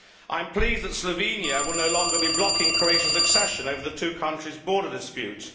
I am pleased that Slovenia will no longer be blocking Croatia's accession over the two countries' border dispute.